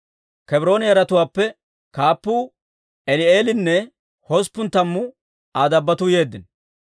Kebroone yaratuwaappe kaappuu Eli'eelinne hosppun tammu Aa dabbotuu yeeddino.